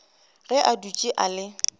ge a dutše a le